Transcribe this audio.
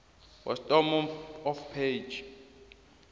bottom of page